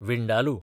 vindaloo